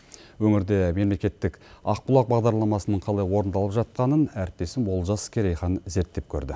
өңірде мемлекеттік аұбұлақ бағдарламасының қалай орындалып жатқанын әріптесім олжас керейханым зерттеп көрді